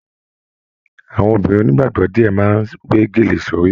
Àwọn obìnrin onígbàgbọ diẹ máa n we gélé sórí.